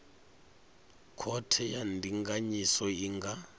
khothe ya ndinganyiso i nga